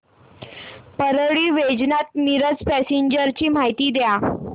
Parli Vaijnath Miraj passenger ची माहिती द्या